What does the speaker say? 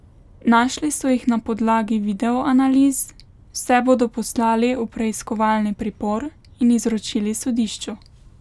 Našli so jih na podlagi videoanaliz, vse bodo poslali v preiskovalni pripor in izročili sodišču.